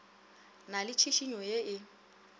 na le tšhišinyo ye e